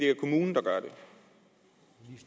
er kommunen